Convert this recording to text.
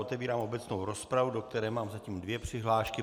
Otevírám obecnou rozpravu, do které mám zatím dvě přihlášky.